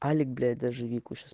алик блять даже вику сейчас